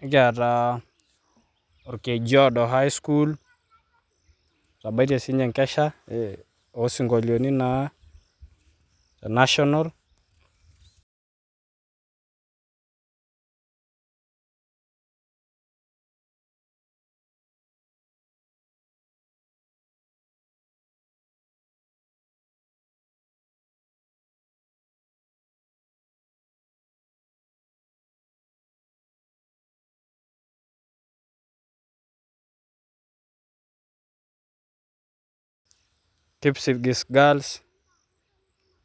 nikiata orkeju oodo highschool, etabeitie sii ninche enkesha oosinkolioni naa le national.